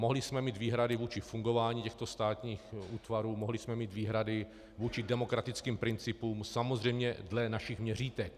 Mohli jsme mít výhrady vůči fungování těchto státních útvarů, mohli jsme mít výhrady vůči demokratickým principům - samozřejmě dle našich měřítek.